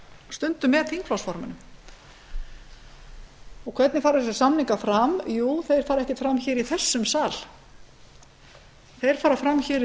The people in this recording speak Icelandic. stundum með þingflokksformönnum hvernig fara þessir samningar fram jú þeir fara ekki fram í þessum sal þeir fara fram í